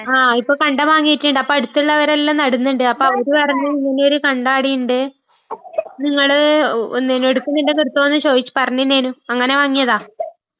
ആ..ഇപ്പൊ കണ്ടം വാങ്ങീട്ടുണ്ട്..അപ്പൊ അടുത്തുള്ളവരെല്ലാം നടുന്നുണ്ട്..അപ്പൊ അവര് പറഞ്ഞ് ഇങ്ങനെയൊരു കണ്ടം അവിടെയുണ്ട്, നിങ്ങള് ഒന്ന് എടുക്കുന്നുണ്ടെങ്കില്‍ എടുത്തോന്ന് ചോയ്ച്ച് പറഞ്ഞിനെനു.അങ്ങനെ വാങ്ങിയതാ..